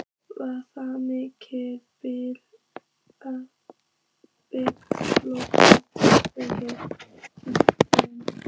Var það mikil blóðtaka fyrir byggðarlagið.